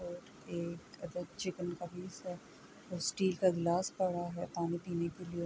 اور ایک چکن کا پیس ہے اور سٹیل کا گلاس پڑا ہے۔ پانی پینے کے لئے--